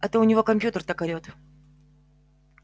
это у него компьютер так орёт